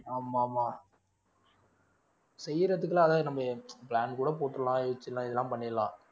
ஆமா ஆமா செய்யறதுக்கு எல்லாம் அதாவது நம்ம plan கூட போட்டுறலாம் யோசிச்சிடலாம் இதெல்லாம் பண்ணிடலாம்